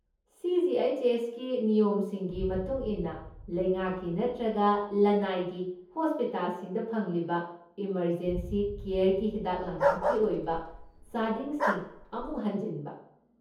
ꯁꯤ.ꯖꯤ.ꯑꯩꯆ.ꯑꯦꯁ.ꯀꯤ ꯅꯤꯌꯣꯝꯁꯤꯡꯒꯤ ꯃꯇꯨꯡ ꯏꯟꯅ ꯂꯩꯉꯥꯛꯀꯤ ꯅꯠꯇ꯭ꯔꯒ ꯂꯅꯥꯏꯒꯤ ꯍꯣꯁꯄꯤꯇꯥꯜꯁꯤꯡꯗ ꯐꯪꯂꯤꯕ ꯏꯃꯔꯖꯦꯟꯁꯤ ꯀꯦꯌꯔꯒꯤ ꯍꯤꯗꯥꯛ ꯂꯥꯡꯊꯛꯀꯤ ꯑꯣꯏꯕ ꯆꯥꯗꯤꯡꯁꯤꯡ ꯑꯃꯨꯛ ꯍꯟꯖꯤꯟꯕ꯫